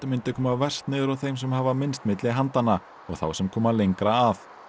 myndu koma verst niður á þeim sem hafa minnst milli handanna og þá sem koma lengra að